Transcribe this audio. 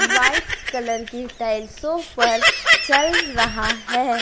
White colour की टाइल्सो पर चल रहा है।